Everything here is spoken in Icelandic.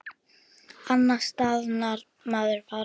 Annars staðnar maður bara.